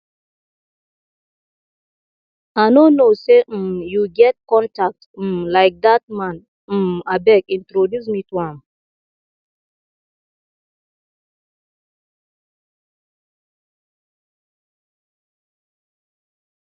i no know say um you get contact um like dat man um abeg introduce me to am